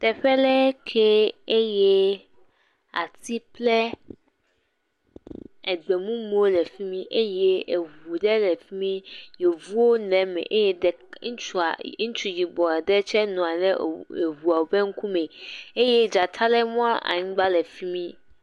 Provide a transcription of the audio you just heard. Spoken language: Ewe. Teƒe lee ke eye ati kple egbemumuwo le fi mi eye eŋu ɖe le fi mi Yevuwo le eme. Eye ɖek, ŋutsua, ŋutsu yibɔ aɖe tsɛ nɔa le eŋ eŋua ƒe ŋkume. Eye ɖeka le mlɔ anyi le anyigba le fi mi.